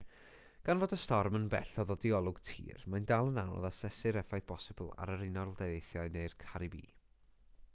gan fod y storm yn bell o ddod i olwg tir mae'n dal yn anodd asesu'r effaith bosibl ar yr unol daleithiau neu'r caribî